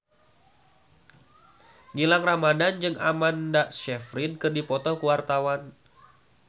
Gilang Ramadan jeung Amanda Sayfried keur dipoto ku wartawan